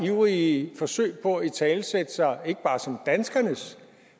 ivrige forsøg på at italesætte sig ikke bare som danskernes